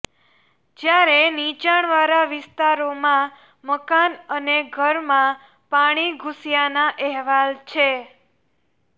જ્યારે નીચાણવાળા વિસ્તારોમાં મકાન અને ઘરમાં પાણી ઘૂસ્યાના અહેવાલ છે